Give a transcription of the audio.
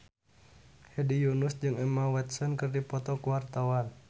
Hedi Yunus jeung Emma Watson keur dipoto ku wartawan